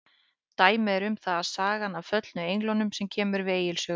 Dæmi um það er sagan af föllnu englunum sem kemur við Egils sögu.